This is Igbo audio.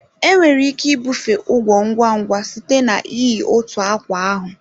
Enwere ike ibufe ugwo ngwa ngwa site na iyi otu akwa ahụ.